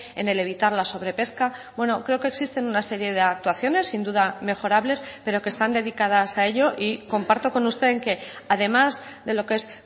en el evitar la sobre pesca bueno creo que existen una serie de actuaciones sin duda mejorables pero que están dedicadas a ello y comparto con usted en que además de lo que es